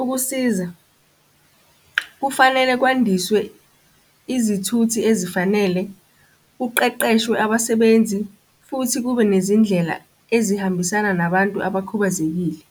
Ukusiza, kufanele kwandiswe izithuthi ezifanele kuqeqeshwe abasebenzi futhi kube nezindlela ezihambisana nabantu abakhubazekile.